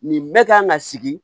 Nin bɛ kan ka sigi